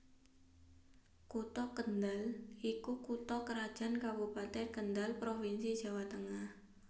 Kutha Kendhal iku Kutha krajan kabupeten Kendhal Provinsi Jawa Tengah